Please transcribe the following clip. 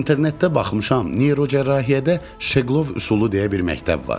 İnternetdə baxmışam, neyrocərrahiyyədə "Şeqlov üsulu" deyilən bir məktəb var.